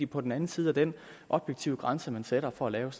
på den anden side af den objektive grænse man sætter for at lave